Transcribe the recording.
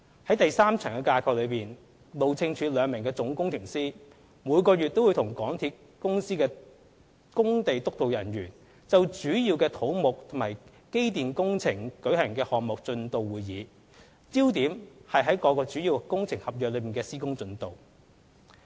在第三層架構，路政署兩名總工程師每月均與港鐵公司的工地督導人員就主要的土木及機電工程舉行項目進度會議，焦點在於各主要工程合約的施工進度。